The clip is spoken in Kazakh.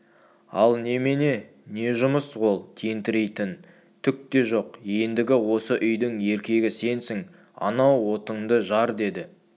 ал немене не жұмыс ол тентірейтін түк те жоқ ендігі осы үйдің еркегі сенсің анау отынды жар деді